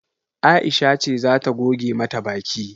Aisha ce zata goge mata baki